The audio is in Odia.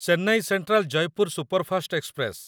Chennai central Jaipur superfast express